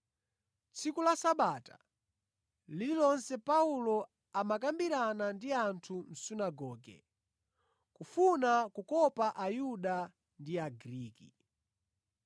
Tsiku la Sabata lililonse Paulo amakambirana ndi anthu mʼsunagoge, kufuna kukopa Ayuda ndi Agriki.